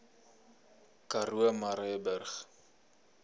karoo murrayburg